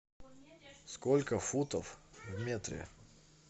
сколько футов в метре